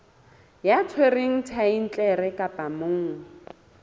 ya tshwereng thaetlele kapa monga